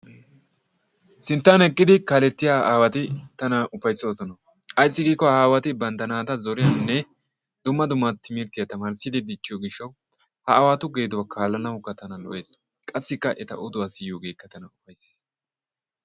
Sinttan eqqiddi kaalettiya aawatti tana ufayssosonna ayssi giikko ha aawatti bantta naata zoriyanne dumma dumma timrttiya tamarssidi dichchiyo gishshawu ha aawattu geeduwaa kalanawukka tana lo''es qasikka etta oduwaa siyoggekka tana lo"es.